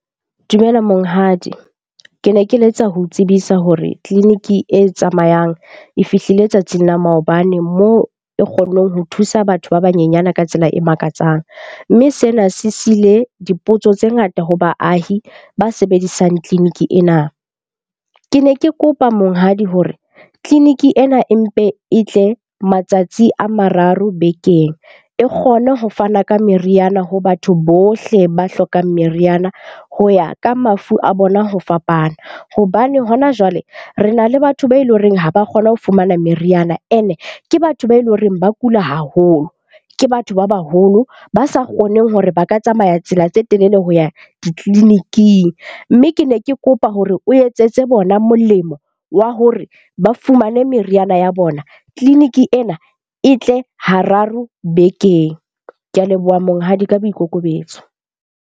Dumela monghadi. Ke ne ke letsa ho tsebisa hore tleliniki e tsamayang e fihlile tsatsing la maobane moo e kgonneng ho thusa batho ba banyenyane ka tsela e makatsang. Mme sena se sile dipotso tse ngata ho baahi ba sebedisang tleliniki ena. Ke ne ke kopa monghadi hore tleliniki ena e mpe e tle matsatsi a mararo bekeng e kgone ho fana ka meriana ho batho bohle ba hlokang meriana ho ya ka mafu a bona ho fapana. Hobane hona jwale re na le batho be e leng horeng ha ba kgone ho fumana meriana, ene ke batho be loreng ba kula haholo. Ke batho ba baholo ba sa kgoneng hore ba ka tsamaya tsela tse e telele ho ya ditleliniking. Mme ke ne ke kopa hore o etsetse bona molemo wa hore ba fumane meriana ya bona. Tleliniki ena e tle hararo bekeng. Ke a leboha monghadi ka boikokobetso.